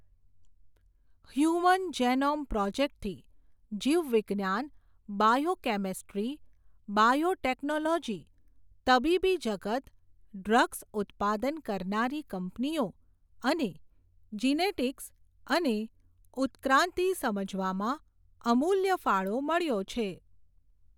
Human genome પ્રોજેક્ટથી, જીવવિજ્ઞાન, biochemistry, biotechnology, તબીબી જગત, ડ્રગ્સ ઉત્પાદન કરનારી કંપનીઓ, અને જીનેટીક્સ અને ઉત્ક્રાંન્તિ સમજવામાં, અમુલ્ય ફાળો મળ્યો છે.